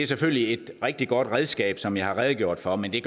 selvfølgelig er et rigtig godt redskab som jeg har redegjort for men det